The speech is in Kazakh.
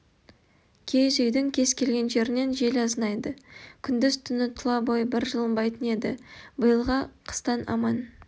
киіз үйдің кез келген жерінен жел азынайды күндіз-түні тұла бойы бір жылынбайтын еді биылғы қыстан аман